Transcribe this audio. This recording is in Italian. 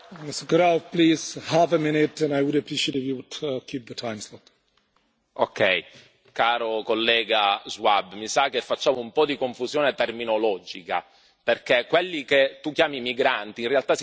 Caro collega Schwab, mi sa che facciamo un po' di confusione terminologica, perché quelli che tu chiami migranti in realtà si chiamano rifugiati e sono coloro che hanno già ottenuto lo status di protezione internazionale.